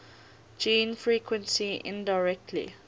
gene frequency indirectly